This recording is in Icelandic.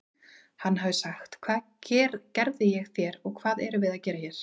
Hann hafi sagt: Hvað gerði ég þér og hvað erum við að gera hér?